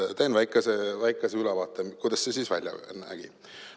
Teen väikese ülevaate, kuidas see siis välja nägi.